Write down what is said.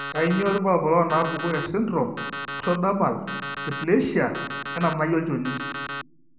Kainyio irbulabul onaapuku esindirom eEctodermal dysplasia enanai olchoni?